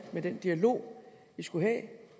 med den dialog vi skulle have